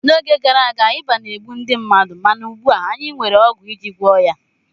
N'oge gara aga, ịba na-egbu ndị mmadụ mana ugbu a anyị nwere ọgwụ iji gwọọ ya